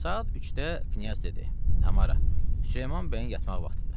Saat 3-də knyaz dedi: Tamara, Süleyman bəyin yatmaq vaxtıdır.